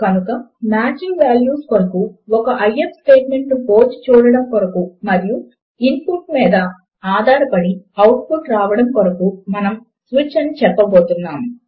కనుక matching values కొరకు ఒక ఐఎఫ్ స్టేట్మెంట్ ను పోల్చి చూడడము కొరకు మరియు ఇన్ పుట్ మీద ఆధారపడి అవుట్ పుట్ రావడము కొరకు మనము స్విచ్ అని చెప్పబోతున్నాము